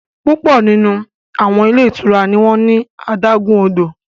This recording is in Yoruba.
Pupọ nínú àwọn ilé ìtura ní awọn adágún odò